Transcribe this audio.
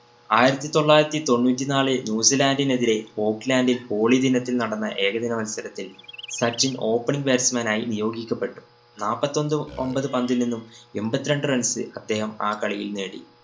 ആയിരത്തി തൊള്ളായിരത്തി തൊണ്ണൂറ്റി നാല് ന്യൂസീലന്ഡിനെതിരെ സ്കോട് ലാൻഡിൽ ഹോളി ദിനത്തിൽ നടന്ന ഏകദിന മത്സരത്തിൽ സച്ചിൻ opening batsman ആയി നിയോഗിക്കപ്പെട്ടു. നാപ്പത്തൊന്ന് ഒമ്പത് പന്തിൽ നിന്നും എമ്പത്തിരണ്ട്‍ runs അദ്ദേഹം ആ കളിയിൽ നേടി.